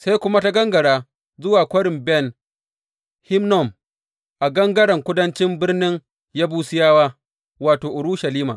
Sai kuma ta gangara zuwa Kwarin Ben Hinnom a gangaren kudancin birnin Yebusiyawa wato, Urushalima.